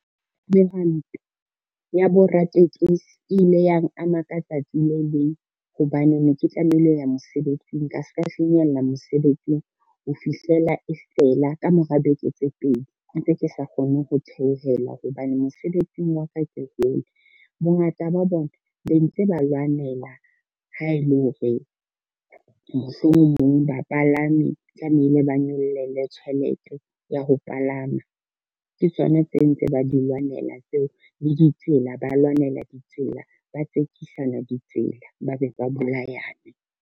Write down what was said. Mehwanto ya boratekesi ile yang ama ka tsatsi le leng, hobane ne ke tlamehile ho ya mosebetsing, ka se ka finyella mosebetsing ho fihlela e fela ka mora beke tse pedi ntse ke sa kgoneng ho theohela hobane mosebetsing wa ka ke hole. Bongata ba bona be ntse ba lwanela ha e le hore, mohlomong bapalami tlamehile ba nyollelwe tjhelete ya ho palama, ke tsona tse ntse ba di lwanela tseo le ditsela ba lwanela ditsela, ba tsekisana ditsela, ba be ba bolayane.